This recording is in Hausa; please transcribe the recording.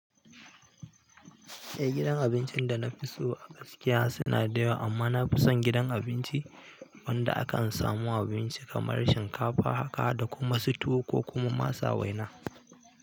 Eh, gidan abincin da na fi so a gaskiya suna da yawa, amma na fi son gidan abinci. Wanda a kan samu abinci kamar shinkafa, haka da kuma su tuwo ko kuma masa waina.